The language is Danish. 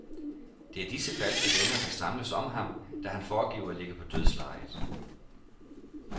Det er disse falske venner, der samles om ham, da han foregiver at ligge på dødslejet.